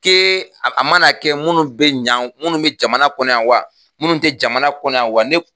ke a mana kɛ munnu be ɲanw munnu be jamana kɔnɔ wa munnu te jamana kɔnɔ wa